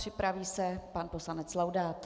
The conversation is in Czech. Připraví se pan poslanec Laudát.